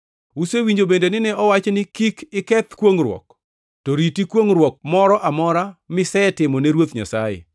“Usewinjo bende ni nowachi ni, ‘Kik iketh kwongʼruok, to riti kwongʼruok moro amora misetimone Ruoth Nyasaye.’